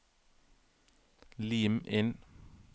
Lim inn